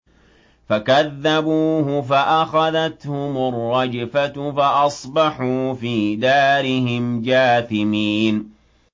فَكَذَّبُوهُ فَأَخَذَتْهُمُ الرَّجْفَةُ فَأَصْبَحُوا فِي دَارِهِمْ جَاثِمِينَ